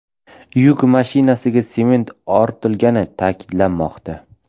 Yuk mashinasiga sement ortilganligi ta’kidlanmoqda.